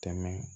Tɛmɛ